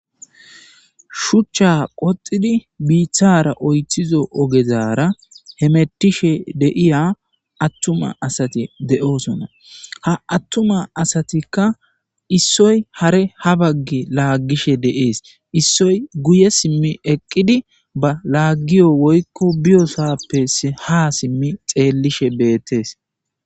Shucha qoxidi bithara oyththizo oggezara hemettishe de'yya aththuma assathi de'oosona. Ha aththuma assathikka issoy hare ha baggi lagishe dees. Issoy guyye simi eqidi ba lagiyo woykko biyossape ha simi xelishe bethees.